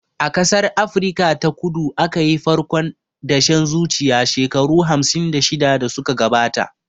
A ƙasar Afrika ta kudu aka yi farkon dashen zuciya shekaru hamsin da shida da suka gabata